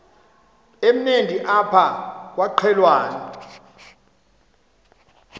emnandi apha kwaqhelwana